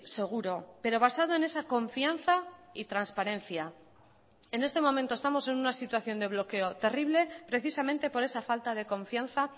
seguro pero basado en esa confianza y transparencia en este momento estamos en una situación de bloqueo terrible precisamente por esa falta de confianza